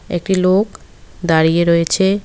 একটি লোক দাঁড়িয়ে রয়েছে।